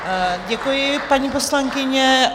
Děkuji, paní poslankyně.